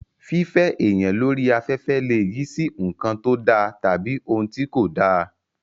Fífẹ́ èèyàn lórí afẹ́fẹ́ lè yí sí nǹkan tó da tàbí ohun tí kò dá